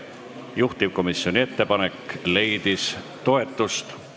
Eelnõu 618 on esimesel lugemisel tagasi lükatud ning langeb Riigikogu menetlusest välja.